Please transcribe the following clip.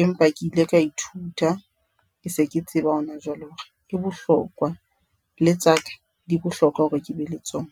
empa ke ile ka ithuta, ke se ke tseba hona jwale hore ke bohlokwa le tsaka di bohlokwa hore ke be le tsona.